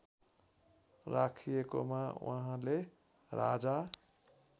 राखिएकोमा उहाँले राजा